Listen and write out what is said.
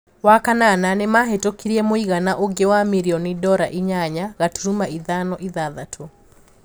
Wakanana, nimahitukirie mũigana ũngĩ wa mirioni dora inyanya gaturuma ithano ithathatũ.